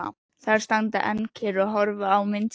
Þær standa enn kyrrar og horfa á mynd sína.